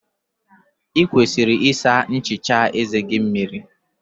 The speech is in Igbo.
Ị kwesịrị ịsa nchicha eze gị mmiri.